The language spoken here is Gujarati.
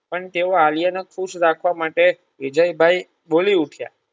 પણ તેઓ આલ્યા ને ખુશ રાખવા માટે વિજયભાઈ બોલી ઉઠીયા